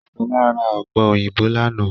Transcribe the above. Ṣọlá ra ọ̀pẹ̀ òyìnbó lánàá